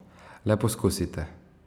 Le poskusite!